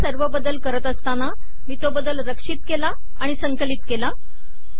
आता मी सगळ्या आडव्या ओळी पूर्ण केल्या आहेत